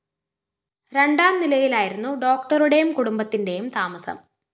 രണ്ടാം നിലയിലായിരുന്നു ഡോക്ടറുടെയും കുടുംബത്തിന്റെയും താമസം